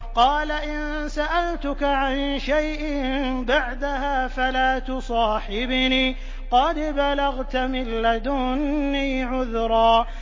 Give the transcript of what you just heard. قَالَ إِن سَأَلْتُكَ عَن شَيْءٍ بَعْدَهَا فَلَا تُصَاحِبْنِي ۖ قَدْ بَلَغْتَ مِن لَّدُنِّي عُذْرًا